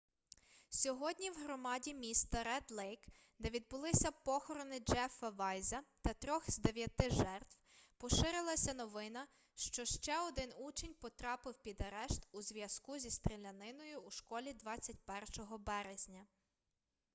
сьогодні в громаді міста ред-лейк де відбулися похорони джеффа вайза та трьох з дев'яти жертв поширилася новина що ще один учень потрапив під арешт у зв'язку зі стріляниною у школі 21 березня